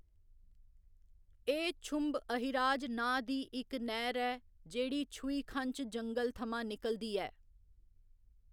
एह्‌‌ छुंब अहिराज नांऽ दी इक नैह्‌र ऐ जेह्‌‌ड़ी 'छुईखँच' जंगल थमां निकलदी ऐ।